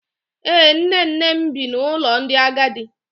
Ee, nne nne m bi n’ụlọ ndị agadi